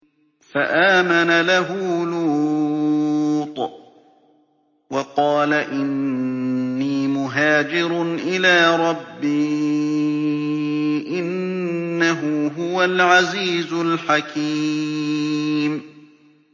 ۞ فَآمَنَ لَهُ لُوطٌ ۘ وَقَالَ إِنِّي مُهَاجِرٌ إِلَىٰ رَبِّي ۖ إِنَّهُ هُوَ الْعَزِيزُ الْحَكِيمُ